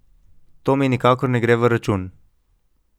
To mi nikakor ne gre v račun.